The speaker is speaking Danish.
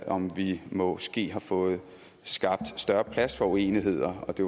om vi måske har fået skabt større plads for uenigheder og det